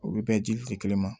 U bɛ bɛn dili te kelen ma